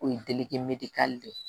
O ye delike ka de ye